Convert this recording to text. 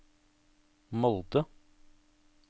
Molde